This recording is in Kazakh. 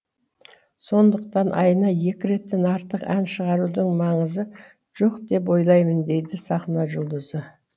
сондықтан айына екі реттен артық ән шығарудың маңызы жоқ деп ойлаймын дейді сахна жұлдызы